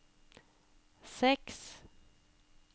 seks